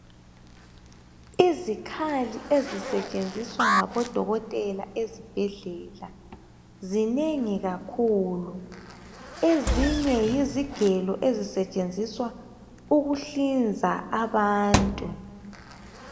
Izikhali ezisetshenziswa ngabodokotela ezibhedlela zinengi kakhulu. Ezinye yizigelo ezisetshenziswa ukuhlinza abantu.